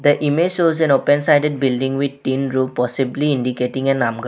The image shows an open sided building with tin roof possibly indicating a nam --.